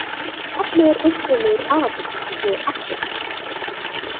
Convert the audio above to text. Nafnið er upprunnið úr arabísku og þýðir „afturhryggur“.